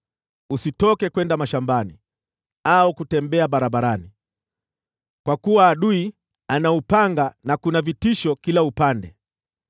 Usitoke kwenda mashambani au kutembea barabarani, kwa kuwa adui ana upanga, na kuna vitisho kila upande.